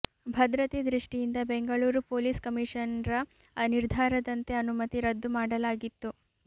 ಭದ್ರತೆ ದೃಷ್ಟಿಯಿಂದ ಬೆಂಗಳೂರು ಪೊಲೀಸ್ ಕಮಿಷನರ್ರ ನಿರ್ಧಾರದಂತೆ ಅನುಮತಿ ರದ್ದು ಮಾಡಲಾಗಿತ್ತು